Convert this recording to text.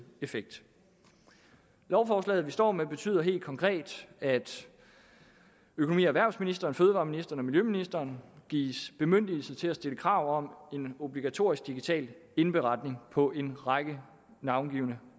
effekt lovforslaget vi står med betyder helt konkret at økonomi og erhvervsministeren fødevareministeren og miljøministeren gives bemyndigelse til at stille krav om en obligatorisk digital indberetning på en række navngivne